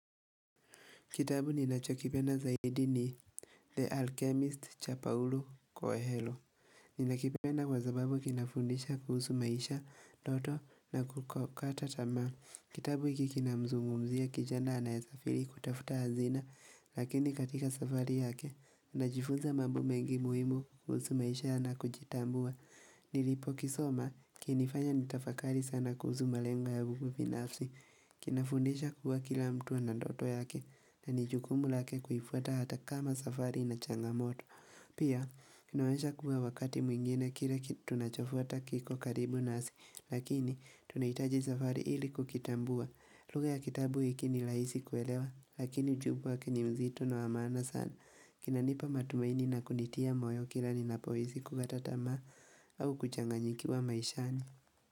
Kitabu ninachokipenda zaidi ni The Alchemist cha Paulu Koehelo. Ninakipenda kwa zababu kinafundisha kuhusu maisha, ndoto na kutokata tamaa. Kitabu hiki kinamzungumzia kijana anayesafiri kutafuta hazina lakini katika safari yake tunajifunza mambo mengi muhimu kuhusu maisha na kujitambua. Nilipo kisoma kilinifanya nitafakari sana kuhusu malengo yangu binafsi. Kinafundisha kuwa kila mtu ana ndoto yake na ni jukumu lake kuifuata hata kama safari ina changamoto Pia, kinaonyesha kuwa wakati mwingine kile tunachofuata kiko karibu nasi Lakini, tunahitaji safari ili kukitambua lugha ya kitabu hiki ni laisi kuelewa, lakini ujumbe wa ke ni mzito na wa maana sana kina nipa matumaini na kunitia moyo kila ninapohisi kukata tamaa au kuchanganyikiwa maishani.